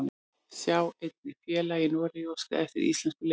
Sjá einnig: Félag í Noregi óskar eftir íslenskum leikmönnum